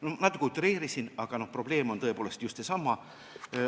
Ma natuke utreerisin, aga probleem on tõepoolest just seesama.